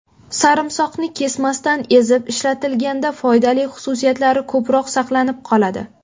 Sarimsoqni kesmasdan ezib ishlatilganda foydali xususiyatlari ko‘proq saqlanib qoladi.